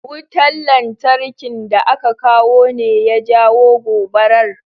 Wutan lantarkin da aka kawo ne ya jawo gobarar?